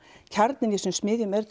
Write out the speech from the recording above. kjarninn í þessum smiðjum er